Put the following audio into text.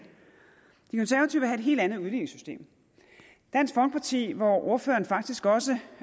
helt andet udligningssystem dansk folkeparti hvor ordføreren faktisk også